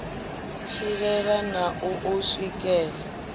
tshilela na u u swikela